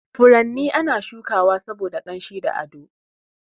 Furanni ana shuka wa saboda ƙanshi ko ado.